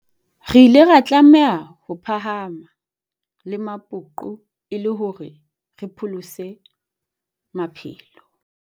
Re ile ra tlameha ho phahame-la mapoqo e le hore re pholose maphelo.